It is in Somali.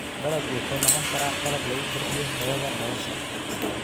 Dalaggu wuxuu noqon karaa qalab lagu kordhiyo tayada nolosha.